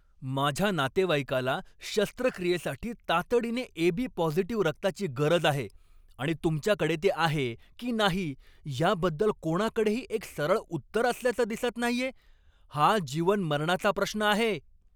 माझ्या नातेवाईकाला शस्त्रक्रियेसाठी तातडीने एबी पॉझिटिव रक्ताची गरज आहे, आणि तुमच्याकडे ते आहे की नाही याबद्दल कोणाकडेही एक सरळ उत्तर असल्याचं दिसत नाहीये. हा जीवन मरणाचा प्रश्न आहे!